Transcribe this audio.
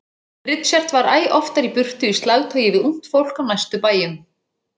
Richard var æ oftar í burtu í slagtogi við ungt fólk á næstu bæjum.